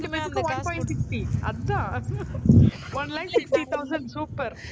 ரெண்டு பேத்துக்கு one point sixty அதான் one lakh sixty thousand super